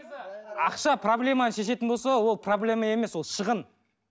ақша проблеманы шешетін болса ол проблема емес ол шығын